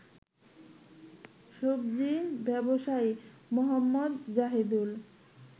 সবজি ব্যবসায়ী মোহাম্মদ জাহিদুল